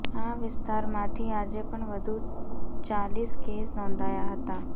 આ વિસ્તારમાંથી આજે પણ વધુ ચાલીસ કેસ નોંધાયા હતા